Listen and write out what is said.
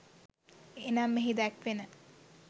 එනම් එහි දැක්වෙන,